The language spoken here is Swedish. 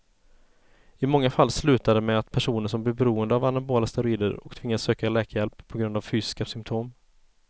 I många fall slutar det med att personen blir beroende av anabola steroider och tvingas söka läkarhjälp på grund av fysiska symptom.